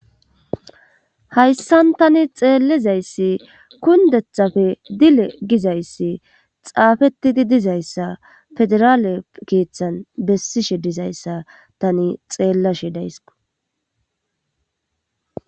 hayssan tani xeellizayssi kundethafe dile gizayssi xaafetidi dizayssa federaale keeththan bessishe dizayssa tani xeellashe dayss